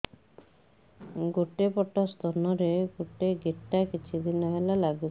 ଗୋଟେ ପଟ ସ୍ତନ ରେ ଗୋଟେ ଗେଟା କିଛି ଦିନ ହେଲା ଲାଗୁଛି